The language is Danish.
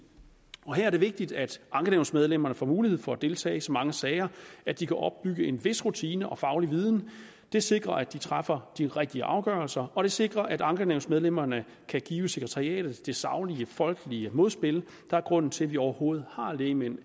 her er det vigtigt at ankenævnsmedlemmerne får mulighed for at deltage i så mange sager at de kan opbygge en vis rutine og faglig viden det sikrer at de træffer de rigtige afgørelser og det sikrer at ankenævnsmedlemmerne kan give sekretariatet det saglige folkelige modspil der er grunden til at vi overhovedet har lægmænd